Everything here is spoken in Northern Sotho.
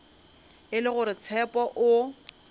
e le gore tshepo o